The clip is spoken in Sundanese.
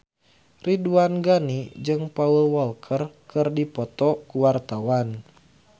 Ridwan Ghani jeung Paul Walker keur dipoto ku wartawan